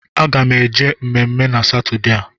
Aga m eje mmemme na Satọdee a